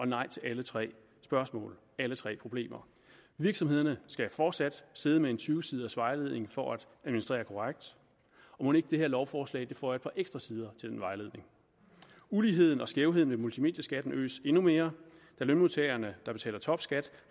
nej til alle tre spørgsmål alle tre problemer virksomhederne skal fortsat sidde med en tyve siders vejledning for at administrere korrekt og mon ikke det her lovforslag føjer et par ekstra sider til den vejledning uligheden og skævheden ved multimedieskatten øges endnu mere da lønmodtagere der betaler topskat